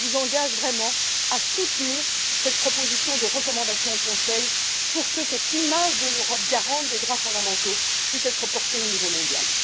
Par conséquent, je vous engage à soutenir cette proposition de recommandation au Conseil pour que cette image de l'Europe garante des droits fondamentaux puisse être portée au niveau mondial.